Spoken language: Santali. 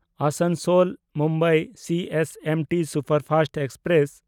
ᱟᱥᱟᱱᱥᱳᱞ–ᱢᱩᱢᱵᱟᱭ ᱥᱤᱮᱥᱮᱢᱴᱤ ᱥᱩᱯᱟᱨᱯᱷᱟᱥᱴ ᱮᱠᱥᱯᱨᱮᱥ